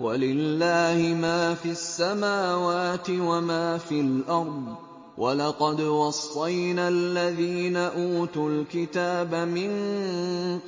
وَلِلَّهِ مَا فِي السَّمَاوَاتِ وَمَا فِي الْأَرْضِ ۗ وَلَقَدْ وَصَّيْنَا الَّذِينَ أُوتُوا الْكِتَابَ مِن